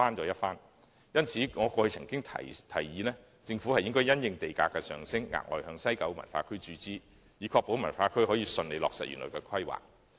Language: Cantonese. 因此，我過去曾經建議，政府應該因應地價的上升，額外向西九文化區注資，以確保西九文化區得以順利落實原來的規劃。